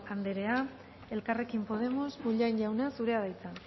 anderea elkarrekin podemos bollain jauna zurea da hitza